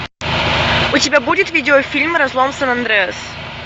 у тебя будет видеофильм разлом сан андреас